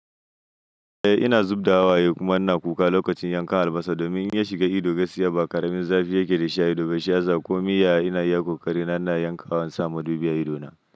Eh ina zub da waye kuma ina kuka lokacin yanka albasa domin in iya shiga ido gaskiya ba, ƙaramin zafi yake da shi a ido, gashiya za ku miya ina iya ƙoƙari na yankawa sama dubiya idona.